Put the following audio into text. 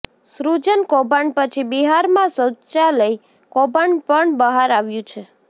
સૃજન કૌભાંડ પછી બિહારમાં શૌચાલય કૌભાંડ પણ બહાર આવ્યું છે